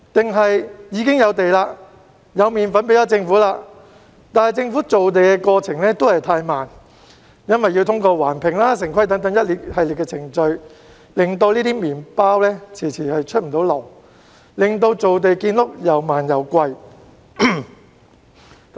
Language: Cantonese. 還是已經有土地、有"麵粉"給政府，只是政府造地的過程太慢，因要通過環評及城規等一系列程序而令"麵包"遲遲未能出爐，亦令造地建屋又慢又貴？